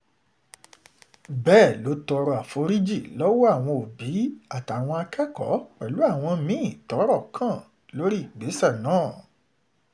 bẹ́ẹ̀ ló tọrọ àforíjì lọ́wọ́ àwọn òbí àtàwọn akẹ́kọ̀ọ́ pẹ̀lú àwọn mí-ín tọ́rọ̀ kàn lórí ìgbésẹ̀ náà